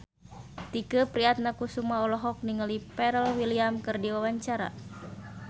Tike Priatnakusuma olohok ningali Pharrell Williams keur diwawancara